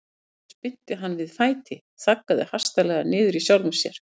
Hér spyrnti hann við fæti, þaggaði hastarlega niður í sjálfum sér.